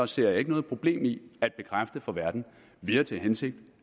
ser jeg ikke noget problem i at bekræfte for verden at vi har til hensigt